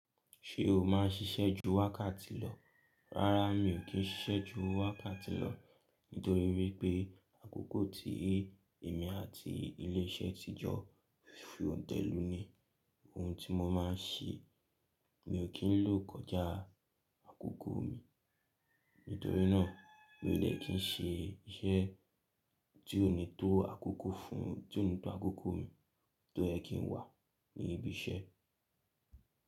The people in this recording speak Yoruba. Ṣé o máa ń ṣiṣẹ́ ju wákàtí lọ? Rárá mi ò kí ń ṣiṣẹ́ ju wákàtí lọ, nítorí wípé àkókò tí èmi àti ilé iṣẹ́ ti jọ fi òǹtẹ̀ lù ní ohun tí mo máa ń ṣe. Mi ò kí ń lò kọjá àkókò mi. Nítorí náà mi ò de kí ń ṣe iṣẹ́ tí ó ní tó àkókò fún, tí ó ní tó àkókò mi tó yẹ kí ń wà ní ibi iṣẹ́.